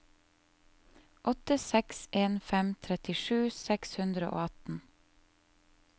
åtte seks en fem trettisju seks hundre og atten